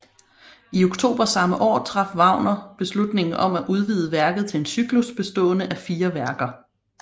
I oktober samme år traf Wagner beslutningen om at udvide værket til en cyklus bestående af fire værker